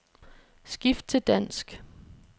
Skift til dansk.